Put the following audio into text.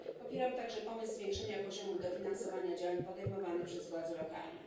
Popieram także pomysł zwiększenia poziomu dofinansowania działań podejmowanych przez władze lokalne.